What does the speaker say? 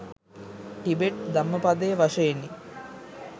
Tibet ධම්මපදය වශයෙනි.